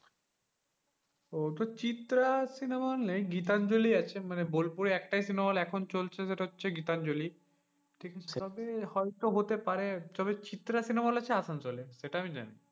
ও তো Chitra cinema hall নেই গীতাঞ্জলি আছে। মানে বোলপুরে একটাই cinema hall এখন চলছে সেটা হচ্ছে গীতাঞ্জলি। হয়তো হতে পারে তবে চিত্রা cinema hall আছে আসানসোলে এটা আমি জানি।